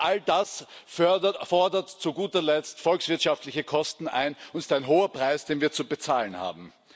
Auch all das fordert zu guter Letzt volkswirtschaftliche Kosten ein, und es ist ein hoher Preis, den wir zu bezahlen haben.